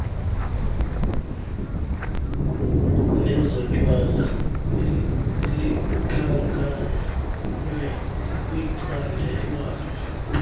nezotywala likhankanywe kwicandelwana